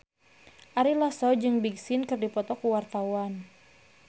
Ari Lasso jeung Big Sean keur dipoto ku wartawan